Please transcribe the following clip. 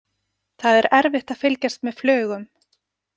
Það er erfitt að fylgjast með flugum.